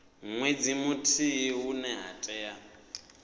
nwedzi muthihi hune ha tea